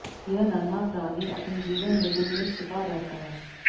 यह नन्हा प्राणी अपने जीवन में दिन में छिपा रहता है